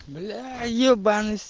бля